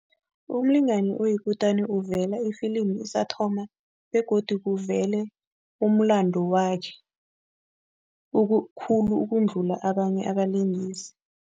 Umlingani oyikutani uvela ifilimu isathoma begodu kuvele umlando wakhe, okukhula ukudlula abanye abalingisi.